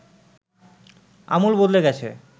আমূল বদলে গেছে